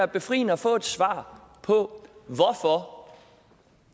befriende at få et svar på